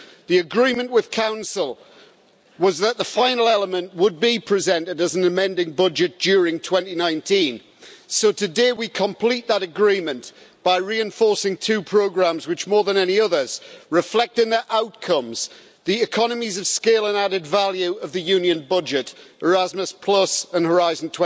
The agreement with the Council was that the final element would be presented as an amending budget during 2019, so today we complete that agreement by reinforcing two programmes which, more than any others, reflect in their outcomes the economies of scale and added value of the Union budget, Erasmus and Horizon